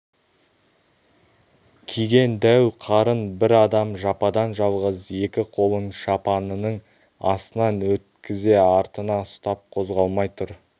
киген дәу қарын бір адам жападан-жалғыз екі қолын шапанының астынан өткізе артына ұстап қозғалмай тұр